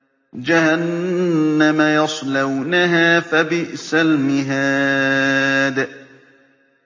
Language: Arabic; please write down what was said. جَهَنَّمَ يَصْلَوْنَهَا فَبِئْسَ الْمِهَادُ